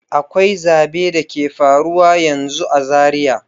Akwai zabe da ke faruwa yanzu a Zaria.